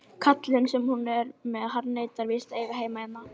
Svo hlustaði hann stanslaust í nokkrar mínútur, sagði ekkert nema: Nei!